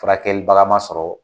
Furakɛlibagama sɔrɔ